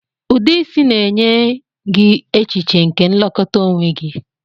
Ụdị isi na-enye gị echiche nke nlekọta onwe gị